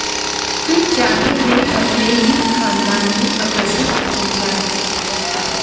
फिर चाहे वे अपने ही खानदान में अप्रसिद्ध हो जाएं